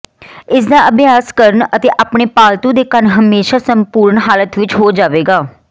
ਇਸ ਦਾ ਅਭਿਆਸ ਕਰਨ ਅਤੇ ਆਪਣੇ ਪਾਲਤੂ ਦੇ ਕੰਨ ਹਮੇਸ਼ਾ ਸੰਪੂਰਣ ਹਾਲਤ ਵਿੱਚ ਹੋ ਜਾਵੇਗਾ